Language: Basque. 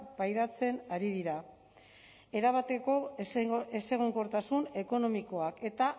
pairatzen ari dira erabateko ezegonkortasun ekonomikoa eta